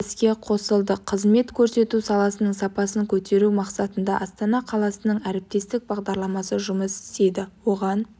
іске қосылды қызмет көрсету саласының сапасын көтеру мақсатында астана қаласының әріптестік бағдарламасы жұмыс істейді оған